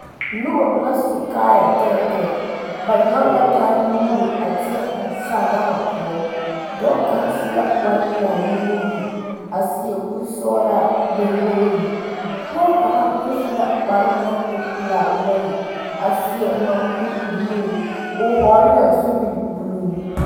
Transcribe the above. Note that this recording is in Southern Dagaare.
Noba la su kaayɛ tɛɛtɛɛ ba nyɔge la taa nuure a teɛ eŋ sagama poɔ dɔɔ kaŋ su la kpar pelaa nuwoore a seɛ kuri sɔgelaa gbɛ woori pɔɔ kaŋ meŋ su la kparoo naŋ e pelaa wogi a seɛ mɔŋkuri buluu o hɔgele la DUGU buluu